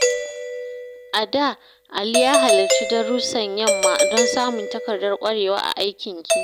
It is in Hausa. A da, Ali ya halarci darussan yamma don samun takardar ƙwarewa a aikin gini.